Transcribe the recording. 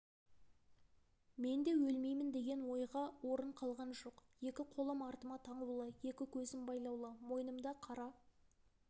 менде өлмеймін деген ойға орын қалған жоқ екі қолым артыма таңулы екі көзім байлаулы мойнымда қара